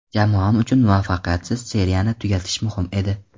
Jamoam uchun muvaffaqiyatsiz seriyani tugatish muhim edi.